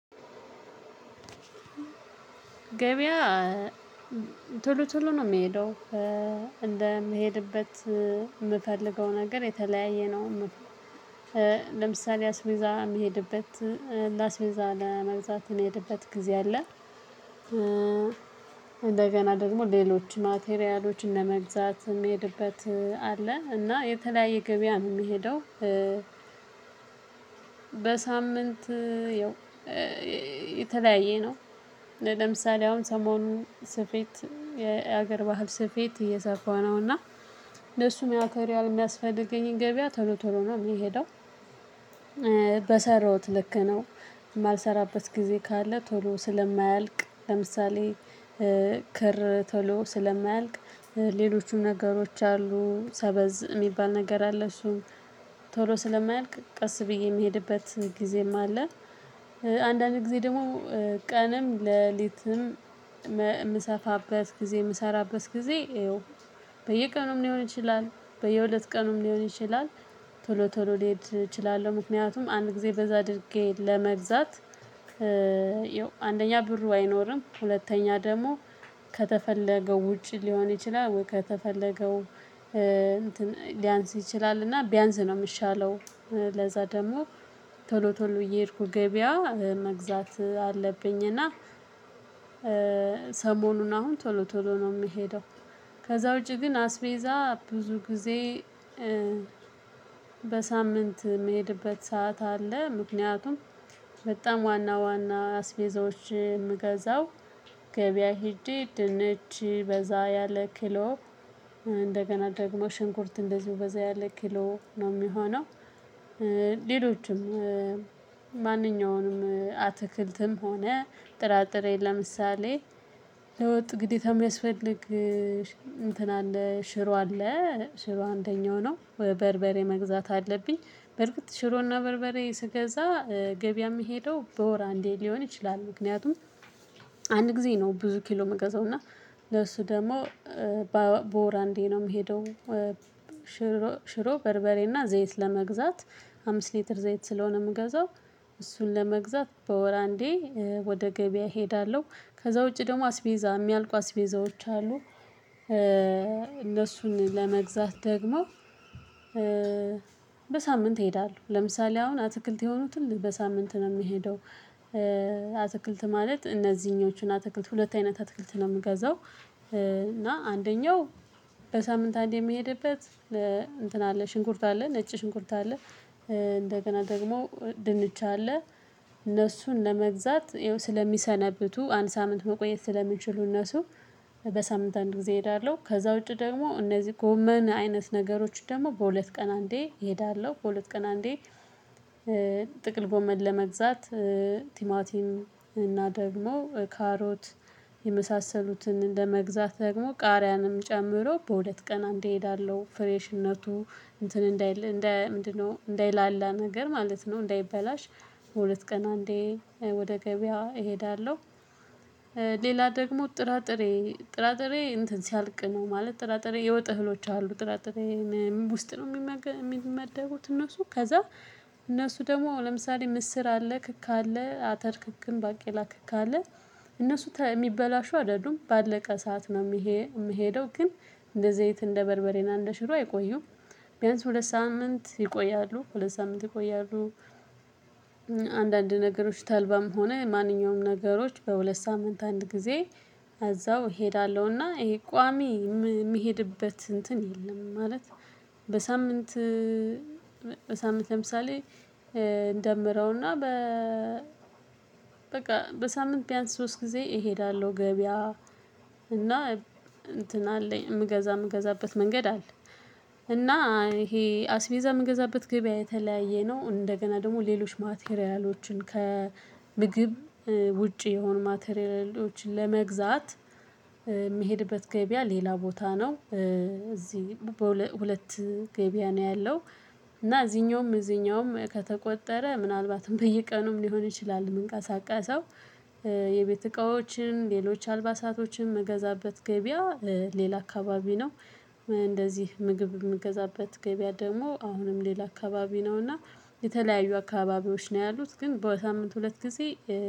ገበያ ቶሎ ቶሎ ነው የምሄደው። እንደምሄድበት የምፈልገው ነገር የተለያየ ነው። ለምሳሌ አስቤዛ የሚሄድበት ለአስቤዛ ለመግዛት የምሄድበት ጊዜ አለ። እንደገና ደግሞ ሌሎች ማቴሪያሎችን ለመግዛት የሚሄድበት አለ። እና የተለያየ ገበያ ነው የምሄደው። በሳምንት ያው የተለያየ ነው። ለምሳሌ አሁን ሰሞኑ ስፌት የሀገር ባህል ስፌት እየሰፋሁ ነው። እና ለሱም ማተሪያል የሚያስፈልገኝን ገበያ ቶሎ ቶሎ ነው የሚሄደው። በሰራሁት ልክ ነው። የማልሰራበት ጊዜ ካለ ቶሎ ስለማያልቅ። ለምሳሌ ክር ቶሎ ስለማያልቅ ሌሎቹም ነገሮች አሉ። ሰበዝ የሚባል ነገር አለ። እሱ ቶሎ ስለማያልቅ ቀስ ብዬ የምሄድበት ጊዜም አለ። አንዳንድ ጊዜ ደግሞ ቀንም ለሊትም የምሰፋበት ጊዜ የምሰራበት ጊዜ ይኸው በየቀኑም ሊሆን ይችላል በየሁለት ቀኑም ሊሆን ይችላል ቶሎ ቶሎ ልሄድ እችላለሁ። ምክንያቱም አንድ ጊዜ በዛ አድርጌት ለመብዛት ይው አንደኛ ብሩ አይኖርም፣ ሁለተኛ ደግሞ ከተፈለገው ውጭ ሊሆን ይችላል ወይ ከተፈለገው ሊያንስ ይችላል። እና ቢያንስ ነው የሚሻለው። ለዛ ደግሞ ቶሎ ቶሎ እየሄድኩ ገበያ መግዛት አለብኝ። እና ሰሞኑን አሁን ቶሎ ቶሎ ነው የምሄደው። ከዛ ውጪ ግን አስቤዛ ብዙ ጊዜ በሳምንት የምሄድበት ሰዓት አለ። ምክንያቱም በጣም ዋና ዋና አስቤዛዎች የምገዛው ገበያ ሄጀ ድንች በዛ ያለ ኪሎ እንደገና ደግሞ ሽንኩርት እንደዚሁ በዛ ያለ ኪሎ ነው የሚሆነው። ሌሎችም ማንኛውንም አትክልትም ሆነ ጥራጥሬ ለምሳሌ ለወጥ ግዴታ የሚያስፈልግ እንትን አለ ሽሮ አለ። ሽሮ አንደኛው ነው። በርበሬ መግዛት አለብኝ። በርግጥ ሽሮና በርበሬ ስገዛ ገበያ የምሄደው በወር አንዴ ሊሆን ይችላል። ምክንያቱም አንድ ጊዜ ነው ብዙ ኪሎ የምገዛው። እና ለሱ ደግሞ በወር አንዴ ነው የምሄደው። ሽሮ፣ በርበሬና ዘይት ለመግዛት አምስት ሊትር ዘይት ስለሆነ የምገዛው እሱን ለመግዛት በወር አንዴ ወደ ገበያ እሄዳለሁ። ከዛ ውጪ ደግሞ አስቤዛ የሚያልቁ አስቤዛዎች አሉ። እነሱን ለመግዛት ደግሞ በሳምንት እሄዳለሁ። ለምሳሌ አሁን አትክልት የሆኑትን በሳምንት ነው የሚሄደው። አትክልት ማለት እነዚህኞችን አትክልት። ሁለት አይነት አትክልት ነው የምገዛው። እና አንደኛው በሳምንት አንዴ የምሄድበት እንትን አለ። ሽንኩርት አለ፣ ነጭ ሽንኩርት አለ። እንደገና ደግሞ ድንች አለ። እነሱን ለመግዛት ይኸው ስለሚሰነብቱ አንድ ሳምንት መቆየት ስለሚችሉ እነሱ በሳምንት አንድ ጊዜ እሄዳለሁ። ከዛ ውጪ ደግሞ እነዚህ ጎመን አይነት ነገሮች ደግሞ በሁለት ቀን አንዴ እሄዳለሁ። በሁለት ቀን አንዴ ጥቅል ጎመን ለመግዛት ቲማቲም እና ደግሞ ካሮት የመሳሰሉትን መግዛት ደግሞ ቃሪያንም ጨምሮ በሁለት ቀን አንዴ እሄዳለሁ። ፍሬሽነቱ እንትን እንዳይል እንደ ምንድነው እንዳይላላ ነገር ማለት ነው። እንዳይበላሽ በሁለት ቀን አንዴ ወደ ገበያው እሄዳለሁ። ሌላ ደግሞ ጥራጥሬ ጥራጥሬ እንትን ሲያልቅ ነው። ማለት ጥራጥሬ የወጥ እህሎች አሉ። ጥራጥሬ ውስጥ ነው የሚመደቡት እነሱ? ከዛ እነሱ ደግሞ ለምሳሌ ምስር አለ፣ ክክ አለ፣ አተር ክክም፣ ባቄላ ክክ አለ። እነሱ የሚበላሹ አይደሉም። ባለቀ ሰዓት ነው የምሄደው። ግን እንደ ዘይት እንደ በርበሬና እንደ ሽሮ አይቆዩም። ቢያንስ ሁለት ሳምንት ይቆያሉ። ሁለት ሳምንት ይቆያሉ። አንዳንድ ነገሮች ተልባም ሆነ ማንኛውም ነገሮች በሁለት ሳምንት አንድ ጊዜ እዛው እሄዳለሁ። እና ይሄ ቋሚ የምሄድበት እንትን የለም። ማለት በሳምንት በሳምንት ለምሳሌ እንደምረው እና በቃ በሳምንት ቢያንስ ሶስት ጊዜ እሄዳለሁ። ገበያ እና እንትን አለኝ የምገዛ የምገዛበት መንገድ አለ። እና ይሄ አስቤዛ የምገዛበት ግበያ የተለያየ ነው። እንደገና ደግሞ ሌሎች ማቴሪያሎችን ከምግብ ውጪ የሆኑ ማቴሪያሎችን ለመግዛት የምሄድበት ገበያ ሌላ ቦታ ነው። እዚህ ሁለት ገበያ ነው ያለው። እና እዚኛውም እዚኛውም ከተቆጠረ ምናልባትም በየቀኑም ሊሆን ይችላል የምንቀሳቀሰው። የቤት እቃዎችን ሌሎች፣ አልባሳቶችን መገዛበት ገበያ ሌላ አካባቢ ነው። እንደዚህ ምግብ የምገዛበት ገበያ ደግሞ አሁንም ሌላ አካባቢ ነው። እና የተለያዩ አካባቢዎች ነው ያሉት። ግን በሳምንት ሁለት ጊዜ